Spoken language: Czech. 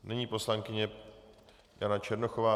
Nyní poslankyně Jana Černochová.